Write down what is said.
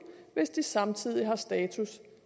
hvis de samtidig har status